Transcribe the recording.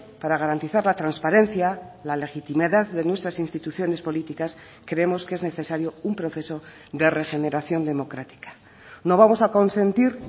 para garantizar la transparencia la legitimidad de nuestras instituciones políticas creemos que es necesario un proceso de regeneración democrática no vamos a consentir